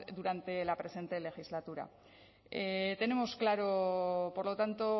durante la presente legislatura tenemos claro por lo tanto